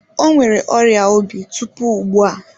O nwere ọrịa obi tupu ugbu a.